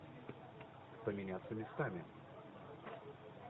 поменяться местами